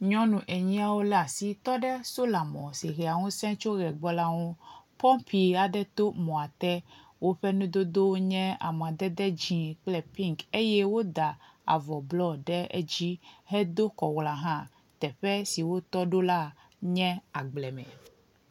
Nyɔnu aɖewo lé asi tɔ ɖe solamɔ si hea ŋusẽ to ʋea gbɔ la ŋu. Pɔpi aɖe to mɔa te. Woƒe nudodowo nye amadede dzɛ̃ kple piŋki eye woda avɔ blɔ ɖe edzi hedo kɔwlɔa hã. Teƒe si wotɔ ɖo la nye agble me.